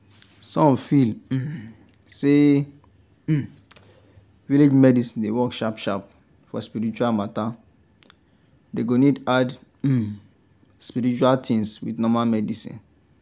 some feel um say um village medicine dey work sharp sharp for spiritual matter dey go need add um spiritual things with normal medicine